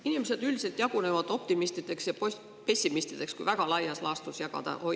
Inimesi saab nende hoiaku põhjal laias laastus jagada optimistideks ja pessimistideks.